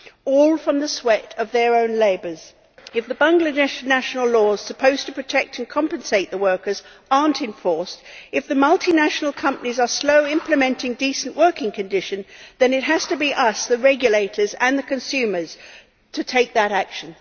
All from the sweat of their own labour. If the Bangladesh national laws supposed to protect and compensate the workers are not enforced, if the multinational companies are slow in implementing decent working conditions, then it has to be up to us, the regulators and the consumers, to take that action.